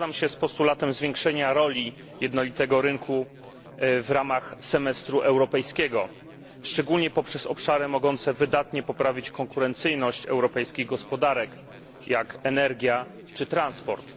Zgadzam się z postulatem zwiększenia roli jednolitego rynku w ramach europejskiego semestru, szczególnie poprzez obszary mogące wydatnie poprawić konkurencyjność europejskich gospodarek, jak energia czy transport.